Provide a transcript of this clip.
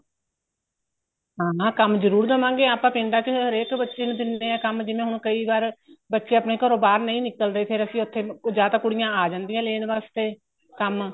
ਹਾਂ ਹਾਂ ਕੰਮ ਜਰੂਰ ਦਵਾਂਗੇ ਆਪਾਂ ਪਿੰਡਾਂ ਚ ਹਰੇਕ ਬੱਚੇ ਨੂੰ ਦਿੰਦੇ ਆ ਕੰਮ ਜਿਵੇਂ ਹੁਣ ਕਈ ਵਾਰ ਬੱਚੇ ਆਪਣੇ ਘਰੋ ਬਾਹਰ ਨਹੀਂ ਨਿਕਲਦੇ ਫੇਰ ਅਸੀਂ ਉੱਥੇ ਜਾਂ ਤਾਂ ਕੁੜੀਆਂ ਆ ਜਾਂਦੀਆਂ ਲੈਣ ਵਾਸਤੇ ਕੰਮ